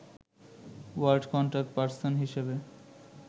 world contact person হিসেবে